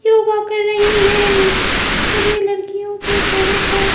योगा कर रही है सभी लड़कियों के चेहरे पर--